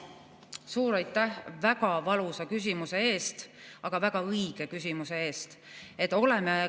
Suur aitäh väga valusa, aga väga õige küsimuse eest!